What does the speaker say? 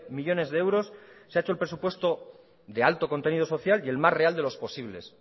millónes de euros se ha hecho el presupuesto de alto contenido social y el más real de los posibles